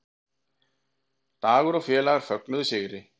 Dagur og félagar fögnuðu sigri